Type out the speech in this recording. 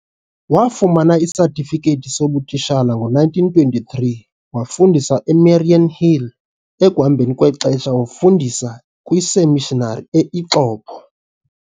Wafumana isatifiketi sobutitshala ngo-1923, wafundisa eMariannhill ekuhambeni kwexesha wafundisa kwiseemishinari e-Ixopo.